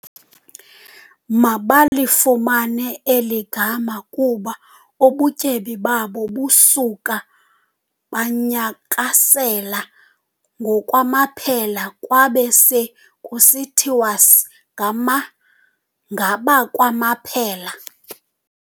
Balifumana eli gama kuba ubutyebi babo busuka banyakasela ngokwamaphela, kwabe se kusithiwas ngama ngabakwaMaphela.